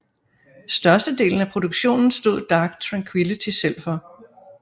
Størstedelen af produktionen stod Dark Tranquillity selv for